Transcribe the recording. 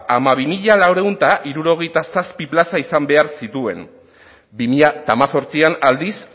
hamabi mila laurehun eta hirurogeita zazpi plaza izan behar zituen bi mila hemezortzian aldiz